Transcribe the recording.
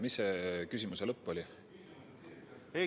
Mis see küsimuse lõpp oli?